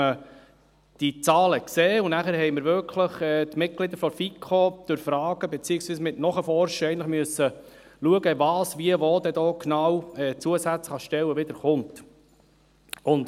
Die Mitglieder der FiKo mussten durch Fragen beziehungsweise Nachforschen in Erfahrung bringen, welche Stellen zusätzlich hinzukommen.